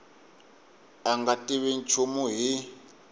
a nga tivi nchumu hi